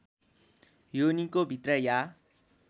योनिको भित्र या